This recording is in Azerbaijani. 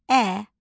Ə.